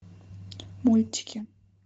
мультики